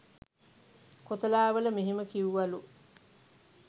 කොතලාවල මෙහෙම කිවුවලු